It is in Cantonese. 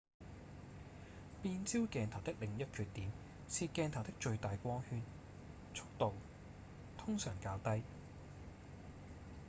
變焦鏡頭的另一缺點是鏡頭的最大光圈速度通常較低